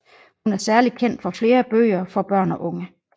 Hun er særlig kendt for flere bøger for børn og unge